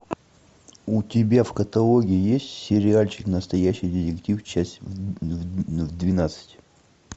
у тебя в каталоге есть сериальчик настоящий детектив часть двенадцать